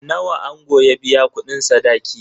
Nawa ango ya biya kudin sadaki?